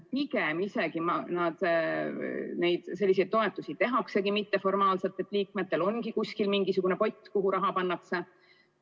Pigem selliseid toetusi tehaksegi mitteformaalselt, liikmetel ongi kuskil mingisugune pott, kuhu raha pannakse.